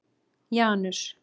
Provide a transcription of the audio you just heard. Janus